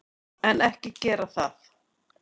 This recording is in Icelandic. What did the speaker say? En, ekki gera það!